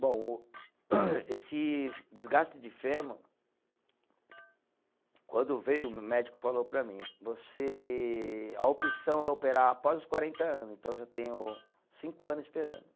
Bom o, esse desgaste de fêmur, quando veio, o médico falou para mim, você, a opção é operar após os quarenta anos, então já tenho cinco anos esperando.